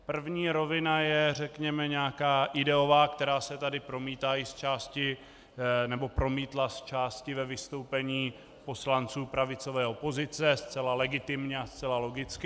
První rovina je řekněme nějaká ideová, která se tady promítla i zčásti ve vystoupení poslanců pravicové opozice zcela legitimně a zcela logicky.